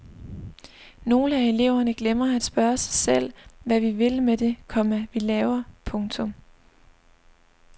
Nogle af eleverne glemmer at spørge sig selv hvad vi vil med det, komma vi laver. punktum